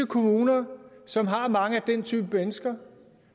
kommuner som har mange af den type mennesker